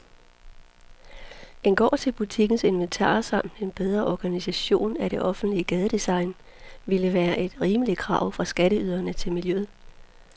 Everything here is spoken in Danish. En gård til butikkens inventar samt en bedre organisering af det offentlige gadedesign ville være et rimeligt krav fra skatteyderne til miljøet.